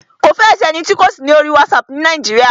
Kò fẹ́ ẹ sí ẹni tí kò sí ní orí WhatsApp ni Nàíjíríà.